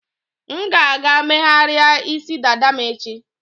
M ga-aga megharịa isi dada m echi.